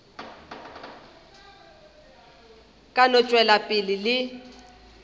ka no tšwela pele le